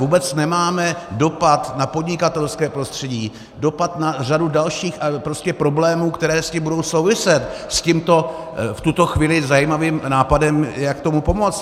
Vůbec nemáme dopad na podnikatelské prostředí, dopad na řadu dalších problémů, které s tím budou souviset, s tímto v tuto chvíli zajímavým nápadem, jak tomu pomoct.